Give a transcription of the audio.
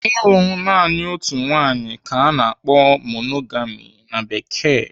Ịlụ naanị otu nwaanyị ka ana akpọ 'monogami' na Bekee.